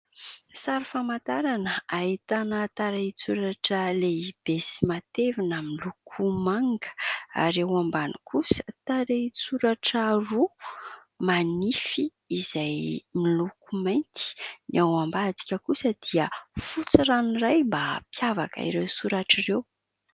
Sary famantarana, ahitana tarehin-tsoratra lehibe sy matevina miloko manga ; ary eo ambany kosa, tarehin-tsoratra roa manify izay miloko mainty ; ny ao ambadika kosa dia fotsy ranoray mba hampiavaka ireo soratra ireo.